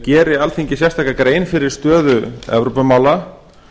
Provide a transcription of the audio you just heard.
geri alþingi sérstaka grein fyrir stöðu evrópumála